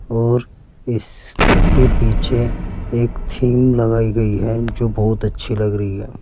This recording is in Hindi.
और इसके पीछे एक थीम लगाई गई है जो बहुत अच्छी लग रही है।